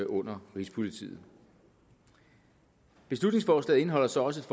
under rigspolitiet beslutningsforslaget indeholder så også